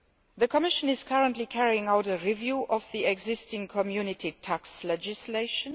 The Commission is currently carrying out a review of the existing Community tax legislation.